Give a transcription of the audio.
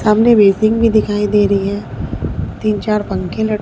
सामने बेसिंग भी दिखाई दे रही है तीन चार पंखे लट--